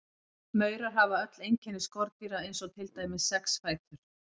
Maurar hafa öll einkenni skordýra eins og til dæmis sex fætur.